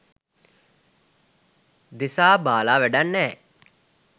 දෙසා බාලා වැඩක් නෑ.